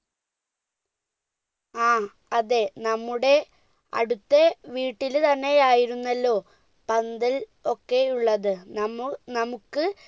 ആ അതെ നമ്മുടെ അടുത്തെ വീട്ടിൽ തന്നെയായിരുന്നല്ലോ പന്തൽ ഒക്കെ ഉള്ളത് നമ്മു നമ്മുക്ക്